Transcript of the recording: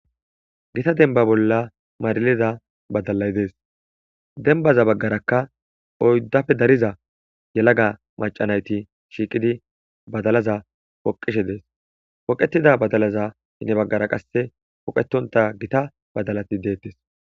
Giitta dembba bolla mariliza baddalay dees dembaza baggarakka oyddappe daarriza yelaga maca naytti shiiqidi baddallaza pooqqishe dees pooqqetida baddallaza henii baggara qasse pooqetontta gitta baddalati deettes